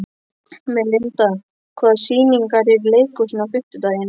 Melinda, hvaða sýningar eru í leikhúsinu á fimmtudaginn?